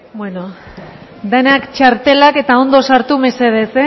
bueno denak txartelak eta ondo sartu mesedez